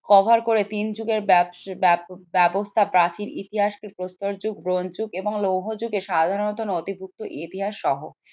cover করে তিন যুগের ব্যাব ব্যাব ব্যবস্থা প্রাচীন ইতিহাস কে প্রস্তর যুগ ব্রোঞ্জ যুগ এবং লৌহ যুগে সাধারানাত নথিভুক্ত ইতিহাস সহ